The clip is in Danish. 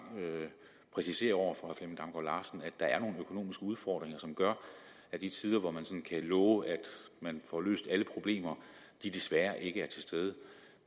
præcisere over for at der er nogle økonomiske udfordringer som gør at de tider hvor man kan love at man får løst alle problemer desværre ikke er til stede